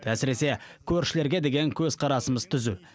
әсіресе көршілерге деген көзқарасымыз түзу